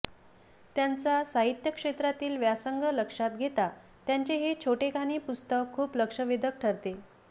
त्यांचा साहित्य क्षेत्रातला व्यासंग लक्षात घेता त्यांचे हे छोटेखानी पुस्तक खूप लक्षवेधक ठरते